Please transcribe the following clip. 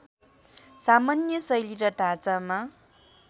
सामान्य शैली र ढाँचामा